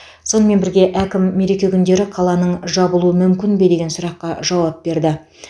сонымен бірге әкім мереке күндері қаланың жабылуы мүмкін бе деген сұраққа жауап берді